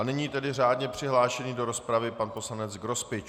A nyní tedy řádně přihlášený do rozpravy pan poslanec Grospič.